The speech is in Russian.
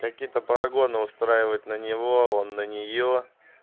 какие-то прогоны устраивать на него а он на неё